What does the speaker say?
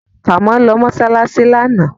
Kàmọ́ lọ mọ́ṣáláṣí lánàá